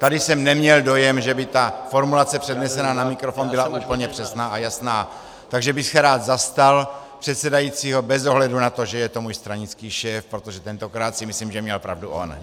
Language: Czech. Tady jsem neměl dojem, že by ta formulace přednesená na mikrofon byla úplně přesná a jasná, takže bych se rád zastal předsedajícího bez ohledu na to, že je to můj stranický šéf, protože tentokrát si myslím, že měl pravdu on.